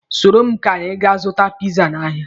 Soro m ka anyị ga zụta piza n'ahịa.